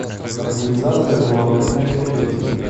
организация деловых мероприятий